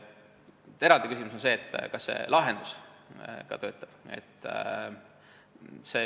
Eraldi küsimus on, et kas see lahendus ka töötab.